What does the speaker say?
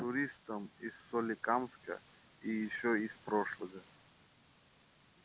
туристом из соликамска и ещё из прошлого